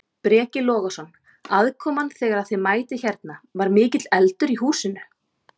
Breki Logason: Aðkoman þegar að þið mætið hérna, var mikill eldur í húsinu?